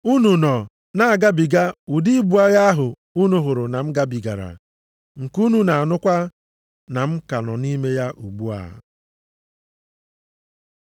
Unu nọ na-agabiga ụdị ibu agha ahụ unu hụrụ na m gabigara, nke unu na-anụkwa na m ka nọ nʼime ya ugbu a.